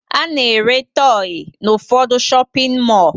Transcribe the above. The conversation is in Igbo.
A na-ere tọyị n'ụfọdụ shọpịn mọọ